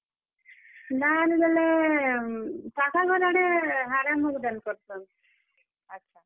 ଦାଲ୍ ବେଲେ କାକା ଘର୍ ଆଡେ ହେ ଆଡେ ମୁଗ୍ ଦାଏଲ କରସନ୍। ଆଛା।